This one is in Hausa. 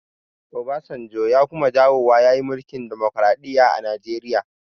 Obasanjo ya kuma dawowa ya yi mulkin dimokraɗiya a najeriya